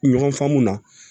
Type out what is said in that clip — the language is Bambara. Ɲɔgɔn faamua